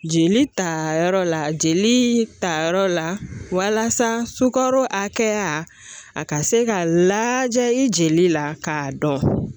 Jeli tayɔrɔ la jeli ta yɔrɔ la walasa sukaro hakɛya a ka se ka laja i jeli la k'a dɔn